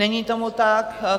Není tomu tak.